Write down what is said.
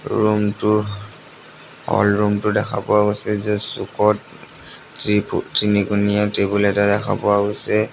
Room টোৰ অ room টো দেখা পোৱা গৈছে যে চুকত তিনিকোণীয়া টেবুল এটা দেখা পোৱা গৈছে।